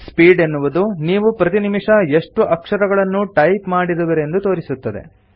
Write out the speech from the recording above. speed ಎನ್ನುವುದು ನೀವು ಪ್ರತಿನಿಮಿಷ ಎಷ್ಟು ಅಕ್ಷರಗಳನ್ನು ಟೈಪ್ ಮಾಡಿರುವಿರೆಂದು ತೋರಿಸುತ್ತದೆ